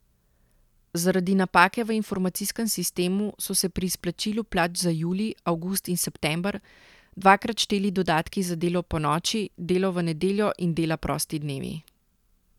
Zaradi napake v informacijskem sistemu so se pri izplačilu plač za julij, avgust in september dvakrat šteli dodatki za delo ponoči, delo v nedeljo in dela prosti dnevi.